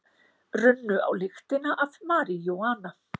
Runnu á lyktina af maríjúana